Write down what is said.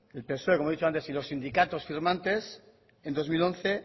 el psoe como he dicho antes si los sindicatos firmantes en dos mil once